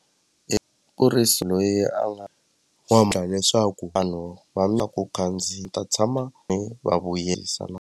kuriso loyi a nga leswaku vanhu va na ku khandziya ta tshama ni va vuyerisa .